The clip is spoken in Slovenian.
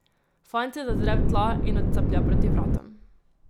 Fant se zazre v tla in odcaplja proti vratom.